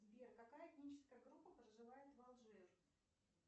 сбер какая этническая группа проживает в алжир